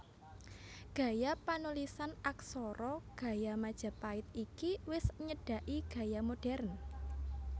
Gaya panulisan aksara gaya Majapait iki wis nyedhaki gaya modhèrn